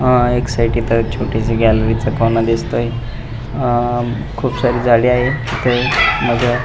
अह एक साइड छोटस गॅलरीच कॉर्नर दिसतोय अह खुप सारी झाडी आहे इथ माग --